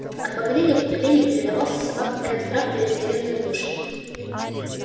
от поколения к поколению передавался собакам этот страх перед северной глушью